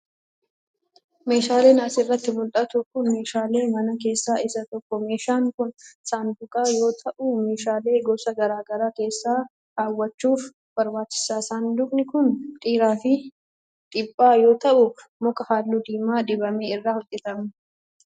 Meeshaan as irratti mul'atu kun, meeshaalee manaa keessaa isa tokko. Meeshaan kun, saanduqa yoo ta'u ,meeshaalee gosa garaa garaa keessa kaawwachuuf barbaachisa. Saanduqni kun, dheeraa fi dhiphaa yoo ta'u, muka haalluu diimaa dibame irraa hojjatame.